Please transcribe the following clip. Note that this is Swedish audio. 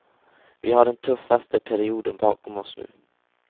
Vi har den tuffaste perioden bakom oss nu.